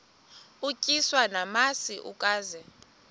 utyiswa namasi ukaze